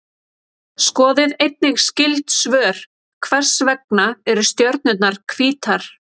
Skoðið einnig skyld svör: Hvers vegna eru stjörnurnar hvítar?